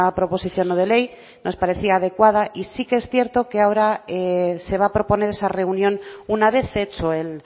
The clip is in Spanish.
proposición no de ley nos parecía adecuada y sí que es cierto que ahora se va a proponer esa reunión una vez hecho el